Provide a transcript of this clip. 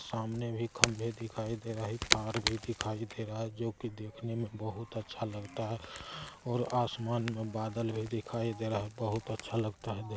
सामने एक खंभे दिखाई दे रहा है एक तार भी दिखाई दे रहा है जो की देखने में बहुत अच्छा लगता है। और आसमान में बादल भी दिखाई दे रहा है। बहुत अच्छा लगता है देख--